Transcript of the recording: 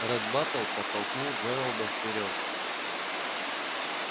ретт батлер подтолкнул джералда вперёд